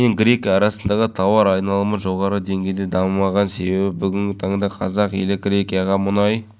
әкімдіктің көл жағалауын ретке келтіру туралы бастамасын толық құптаймыз жаңа талаптарға сай болу үшін барымызды салып